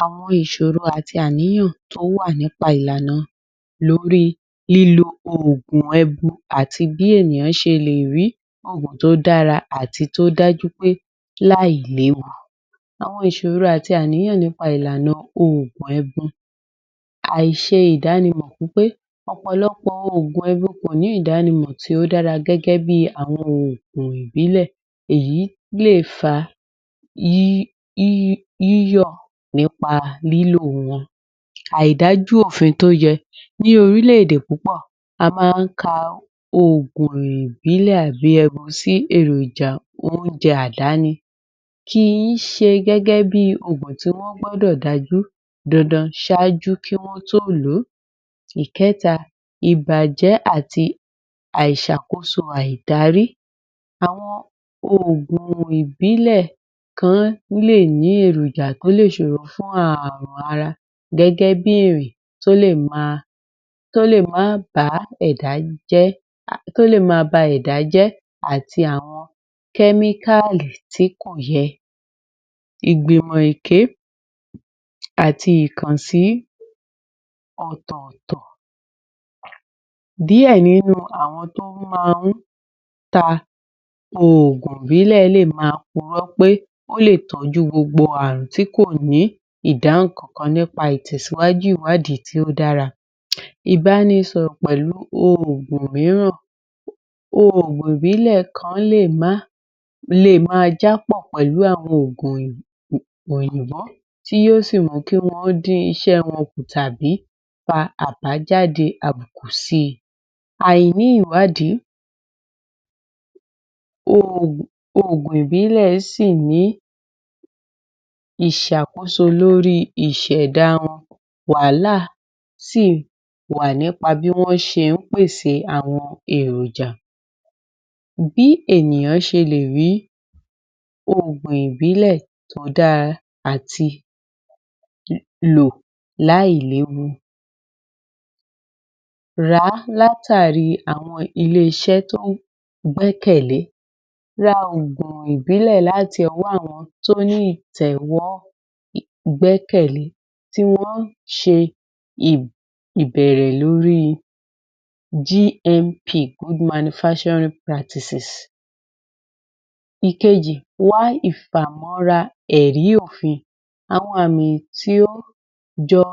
Àwọn ìsòro àti àníyàn tó wà nípa ìlànà lórí lílo oògùn ẹbu àti bí ènìyàn ṣe le rí ọ̀nà tó dára àti dájúdájú gbẹ́ láìléwu àwọn ìsòro àti àníyaǹ nípa lílo oògùn ẹbu ṣe ìdánimò nipé ọ̀pọ̀lọpọ̀ oògùn ẹbu kòní ìdánimọ̀ tí ó dára gẹ́gẹ́ bí àwọn oògùn ìbílẹ̀ èyí le fa yíyọ̀ nípa lílo wọ́n àidájú òfin tó ye ní orílẹ̀ ẹ̀dè púpọ̀ a máa ka oògùn ìbílẹ̀ àbí ẹbu sí èròjà oúnjẹ àdáni kìí ṣe gẹ́gẹ́ bí oògùn tí wọ́n gbodò dájú dandan sájú kí wọ́n tó lọ. ìkẹ́ta ìbàjẹ́ àti àiàisàkóso àidarí àwọn oògùn ìbílẹ̀ kan leè ní eròjà tó le sòro fún aàrùn ara gẹ́gẹ́ bíi èrè tó lè màá bàá ẹ̀dá jẹ́ tó lè ma ba ẹ̀dá jẹ́ àti àwọn kémíkàlì tí kọ̀ yẹ. ìgbìmọ̀ èké àti ìkànsí ọ̀tọ̀tọ̀ díẹ̀ nínú àwọn tó maa ń ta ògùn ìbílẹ̀ léè ma kuró pé ó le tọ́jú gbogbo àar̀ùn tí kò ní ìdáhùn kankan nípa ìtèsíwájú ìwádìí tí ó dára ìpani sọ̀rọ̀ nípa oògùn rírà. ògùn ògùn ìbílẹ̀ kan leè ma jápọ̀ pẹ̀lú àwọn ògùn pẹ̀lú àwọn ògùn òyìnbọ́ tí yóò sì mú kí ó dín isé wọn kù tàbí fa àbá jáde àbùkù síi. àiní ìwádìi ́ògùn ìbílè sì ni ìsàkóso lórí ìṣèdá wọn. wàhálà sí wà nípa bí wọ́n se ń pèsè àwọn èròjà.bí ènìyàn șelè rí ògùn ìbílẹ̀ tó dára àti lò lò áìléwu ràá lá tàrí àwọn ilé isé tán gbẹ́kẹ̀lẹ́ ra ògùn ìbílẹ̀ láti ọwọ́ àwọn tóní ìtẹ̀wọ́ gbẹ́kẹ̀lẹ́ tí wọ́n se ìbẹ̀rẹ̀ lórí GMP good manufacturing practices. Ìkejì wá ìfamọ́ra ẹ̀rí òfin àwọn àmì tí ó joo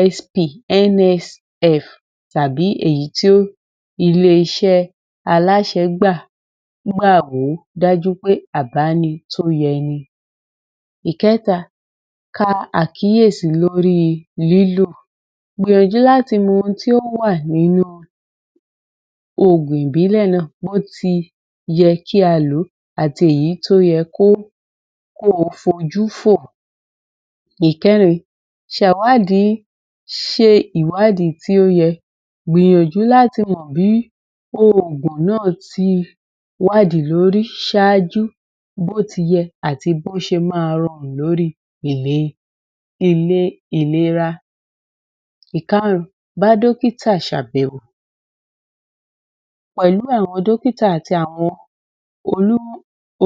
USP NSF tàbí èyí tí ó ilẹ́ isẹ́ aláṣe gbàgbọ́ dájúpé à bá ni tọ́ yẹ ni. Ìkẹta ka àkíèsí lórí lílo gbìyànjú láti mọ oun tí ó wáà nínú ògùn ìbílẹ̀ bí óti yẹ kí a lòó àti èyí tó yẹ kó kóo fojú fò. ìkẹ́rin sàwádìí se ìwádìí tí ó yẹn gbìyànjú láti mọ̀ bí ògùn náà ti wádìí lórí saájú bóti yẹ àti bọ́ ti máa rorùn lórí ilé ìlẹra. Ìkárùn bá dọ́kítà sẹ àbẹ̀wò pẹ̀lú àwọn dọ́kítà àti àwọn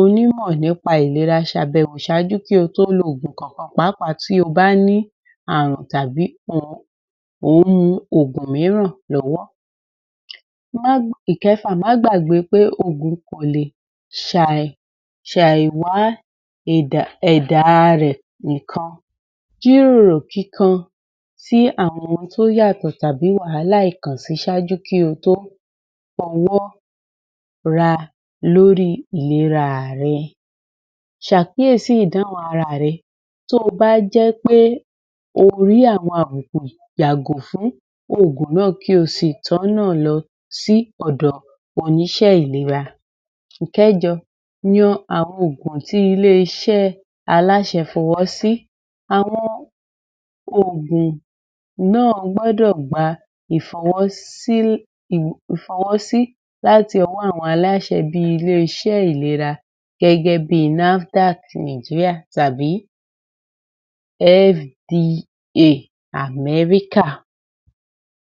onímọ̀ nípa ìlera ṣe àbẹ̀wò sájú kí o tó lo ògùn kakan pàápàá tí o bá ní ààrùn tàbí ohun mu ògùn míràn lọ́wọ́ ìkẹfà máa gbàgbé pé ògùn kó lè sàìwá ẹ̀dá rẹ̀ níkan gíròrò kíkan sí àwọn tí ó yàtọ̀ tàbí wàhálà ìkànsí sájú kí ọ tó fowó ràá lórí ìlera rẹ̀ sàkíèsí Ìdáhùn ara à rẹ tí o bá jẹ́pé o rí àwọn àbùkù yàgò fún ògùn náà kí o sì tó nà losí ọ̀dọ̀ àwọn oníṣé ìlera rẹ ìkẹ́jọ yan àwọn ògùn tí ilé isé aláṣẹ fọwọ́ sí àwọn ògùn náà gbódò gba ìfọwọ́sí láti ọwọ́ àwọn aláṣẹ bí ilé iṣé ìlera gẹ́gẹ́ bíi NAFDACKí nìgíríà tàbí FDA Amẹ́ríkà